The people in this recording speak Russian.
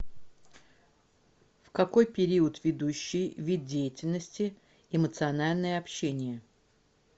в какой период ведущий вид деятельности эмоциональное общение